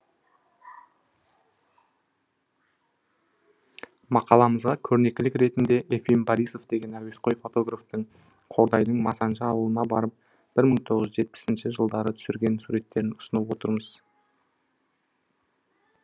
мақаламызға көрнекілік ретінде ефим борисов деген әуесқой фотографтың қордайдың масаншы ауылына барып бір тоғыз жүз жетпісінші жылдары түсірген суреттерін ұсынып отырмыз